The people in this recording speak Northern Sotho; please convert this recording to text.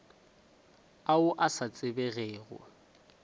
ao a sa a tsebegego